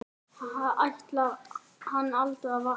Ætlar hann aldrei að vakna?